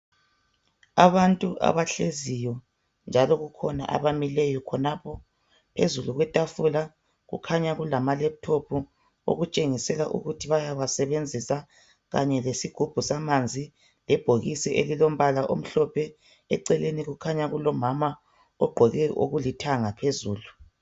Abantu abahleziyo njalo kukhona abamileyo khonapho. Phezulu kwetafula kukhanya kulamaleputopu okutshengisela ukuthi bayawasebenzisa khanye lesigubhu samanzi lebhokisi elilombala omhlophe. Eceleni kukhanya kulomama ogqoke okulithanga phezulu.